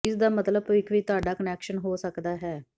ਇਸਦਾ ਮਤਲਬ ਭਵਿੱਖ ਵਿੱਚ ਤੁਹਾਡਾ ਕਨੈਕਸ਼ਨ ਹੋ ਸਕਦਾ ਹੈ